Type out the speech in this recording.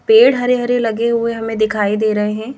पेड़ हरे-हरे लगे हुए हमें दिखाई दे रहे हैं।